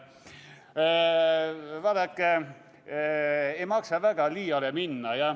Vaadake, ei maksa väga liiale minna.